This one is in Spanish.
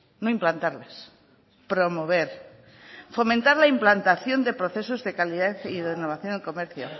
no implantarlas promover fomentar la implantación de procesos de calidad y renovación de comercio